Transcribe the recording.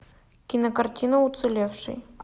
кинокартина уцелевший